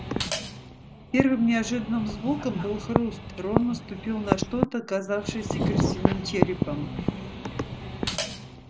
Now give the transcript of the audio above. первым неожиданным звуком был хруст рон наступил на что-то оказавшееся крысиным черепом